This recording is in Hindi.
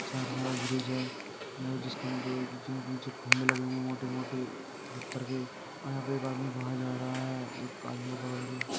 साइड सा ब्रिज है। यह जिसके नीचे बीच बीच से खम्भे लगे हुए है मोटे मोटे पत्थर के और यहाँ पे एक आदमी बाहर जा रहा है एक आदमी पकड़ के।